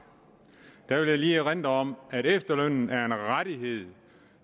vil jeg lige erindre om at efterlønnen er en rettighed